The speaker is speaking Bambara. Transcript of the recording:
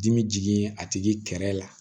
Dimi jigin a tigi kɛrɛ la